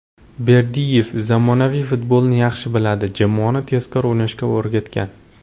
Berdiyev zamonaviy futbolni yaxshi biladi, jamoani tezkor o‘ynashga o‘rgatgan.